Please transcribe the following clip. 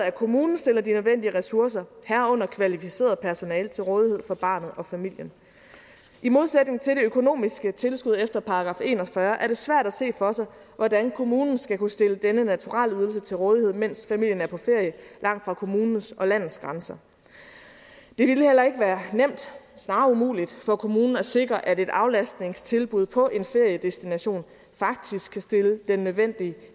at kommunen stiller de nødvendige ressourcer herunder kvalificeret personale til rådighed for barnet og familien i modsætning til det økonomiske tilskud efter § en og fyrre er det svært at se for sig hvordan kommunen skal kunne stille denne naturalieydelse til rådighed mens familien er på ferie langt fra kommunens og landets grænser det ville heller ikke være nemt snarere umuligt for kommunen at sikre at et aflastningstilbud på en feriedestination faktisk kan stille den nødvendige